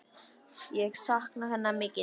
Ég sakna hennar mikið núna.